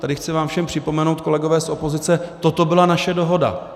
Tady chci vám všem připomenout, kolegové z opozice, toto byla naše dohoda.